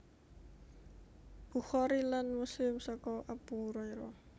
Bukhari lan Muslim saka Abu Hurairah